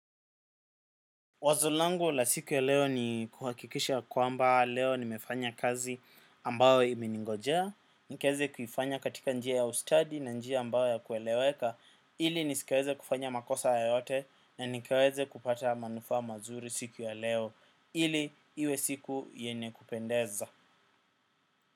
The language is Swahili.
Wazo langu la siku ya leo ni kuhakikisha kwamba leo nimefanya kazi ambayo imeningojea. Nikaweze kuifanya katika njia ya ustadi na njia ambayo ya kueleweka. Ili nisikaweze kufanya makosa yoyote na nikaweze kupata manufaa mazuri siku ya leo. Ili iwe siku yene kupendeza.